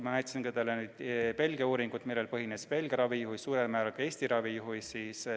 Ma näitasin teile Belgia uuringut – seda, millel põhines Belgia ravi ja millel põhineb suurel määral ka Eesti ravijuhis.